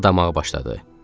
Pıqqıldamağa başladı.